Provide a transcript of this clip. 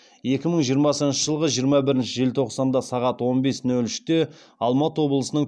екі мың жиырмасыншы жылғы жиырма бірінші желтоқсанда сағат он бес нөл үште алматы облысының